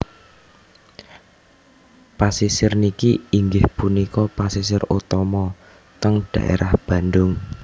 Pasisir niki inggih punika pasisir utama teng daerah Bandung